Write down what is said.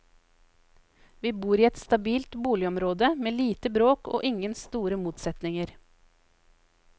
Vi bor i et stabilt boligområde med lite bråk og ingen store motsetninger.